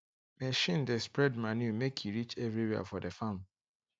machine dey spread manure make e reach everywhere for the farm